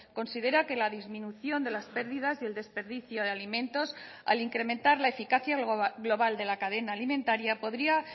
considera que la disminución de las pérdidas y el desperdicio de alimentos al incrementar la eficacia global de la cadena alimentaria podría